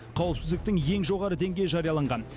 қауіпсіздіктің ең жоғары деңгейі жарияланған